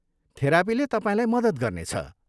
थेरापीले तपाईँलाई मद्दत गर्नेछ।